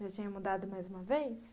Já tinha mudado mais uma vez?